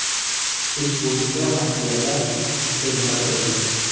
Ish bo‘yicha materiallar sudga yo‘naltirildi.